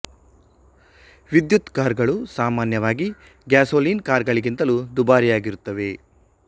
ವಿದ್ಯುತ್ ಕಾರ್ ಗಳು ಸಾಮಾನ್ಯವಾಗಿ ಗ್ಯಾಸೊಲಿನ್ ಕಾರ್ ಗಳಿಗಿಂತಲೂ ದುಬಾರಿಯಾಗಿರುತ್ತವೆ